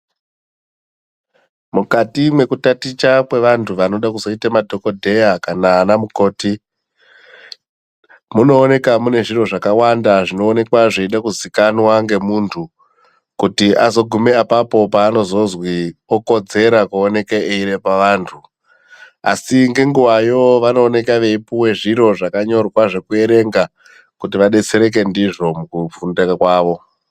Mukati mwekutaticha kwevanhu vanode kuzoita madhokodheya kana anamukoti munoonekwa mune zviro zvakawanda zvinoonekwa zveida kuziikanwa ngemuntu kuti azoguma apapo paanozozwi okodzera kuoneka eirepa antu asi ngenguyayo vanooneka veipiwa zviro zvakanyorwa zvekuerenga kuti vadetsereke ndizvo mukufunda kwawo.